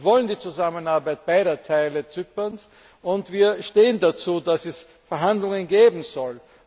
Wir wollen die Zusammenarbeit beider Teile Zyperns, und wir stehen dazu, dass es Verhandlungen geben soll.